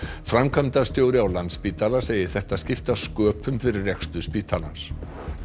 framkvæmdastjóri á Landspítala segir þetta skipta sköpum fyrir rekstur spítalans